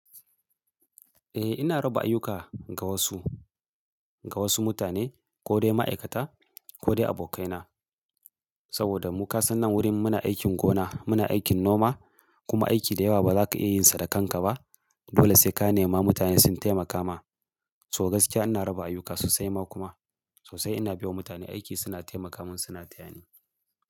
Eh ina raba ayyuka ga wasu, ga wasu mutane ko dai ma'aikata ko dai abokaina. Saboda muka san nan wurin muna aikin gona, muna aikin noma kuma aiki da yawa baza ka iya yin sa da kanka ba. Dole sai ka nema mutane sun taimaka ma. So gaskiya ina raba ayyuka sosai ma kuma sosai ina baiwa mutane aiki suna taimaka min suna tayani.